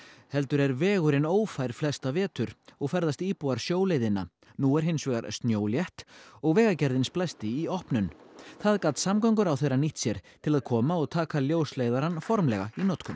heldur er vegurinn ófær flesta vetur og ferðast íbúar sjóleiðina nú er hins vegar snjólétt og Vegagerðin splæsti í opnun það gat samgönguráðherra nýtt sér til að koma og taka ljósleiðarann formlega í notkun